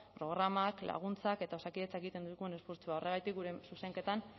programak laguntzak eta osakidetzak egiten dituen esfortzuak horregatik gure zuzenketan